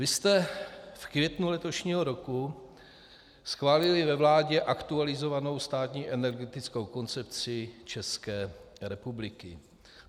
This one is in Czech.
Vy jste v květnu letošního roku schválili ve vládě aktualizovanou státní energetickou koncepci České republiky.